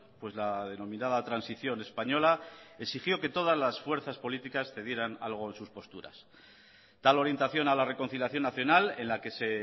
pues la denominada transición española exigió que todas las fuerzas políticas cedieran algo en sus posturas tal orientación a la reconciliación nacional en la que se